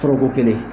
Foroko kelen